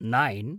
nine